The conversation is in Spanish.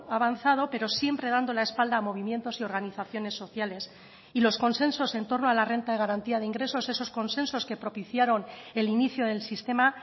ha avanzado pero siempre dando la espalda a movimientos y organizaciones sociales y los consensos en torno a la renta de garantía de ingresos esos consensos que propiciaron el inicio del sistema